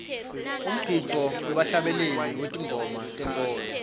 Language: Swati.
umgidvo webahlabeleli betingoma tenkholo